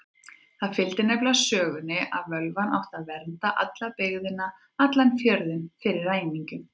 Það fylgdi nefnilega sögunni að völvan átti að vernda alla byggðina, allan fjörðinn, fyrir ræningjum.